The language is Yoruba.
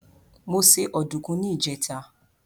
Mo se ọdùkún ní ìjẹ́ta.